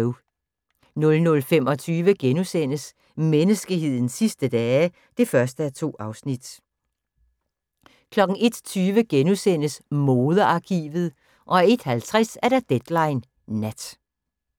00:25: Menneskehedens sidste dage (1:2)* 01:20: Modearkivet * 01:50: Deadline Nat